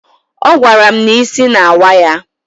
Ọ gwara m na isi na-awa ya.